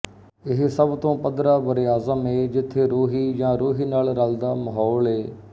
ਇਹ ਸਭ ਤੋਂ ਪੱਧਰਾ ਬਰਏਆਜ਼ਮ ਏ ਜਿਥੇ ਰੋਹੀ ਯਾ ਰੋਹੀ ਨਾਲ਼ ਰਲਦਾ ਮਹੌਲ ਏ